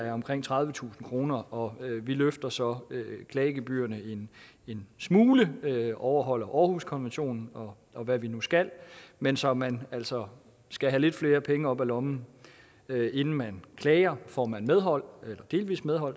er omkring tredivetusind kr og vi løfter så klagegebyrerne en smule overholder århuskonventionen og og hvad vi nu skal men så man altså skal have lidt flere penge op af lommen inden man klager får man medhold eller delvis medhold